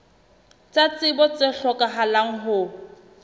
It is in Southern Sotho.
tsa tsebo tse hlokahalang ho